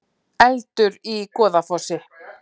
Eldur í Goðafossi